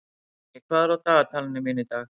Árný, hvað er í dagatalinu mínu í dag?